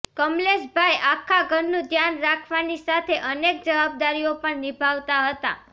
કમલેશભાઈ આખા ઘરનું ધ્યાન રાખવાની સાથે અનેક જવાબદારીઓ પણ નિભાવતા હતા